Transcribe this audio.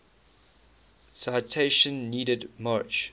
citation needed march